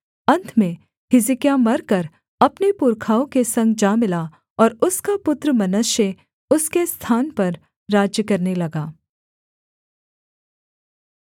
अन्त में हिजकिय्याह मरकर अपने पुरखाओं के संग जा मिला और उसका पुत्र मनश्शे उसके स्थान पर राज्य करने लगा